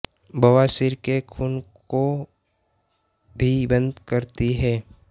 बवासीर के खून को भी बंद करती है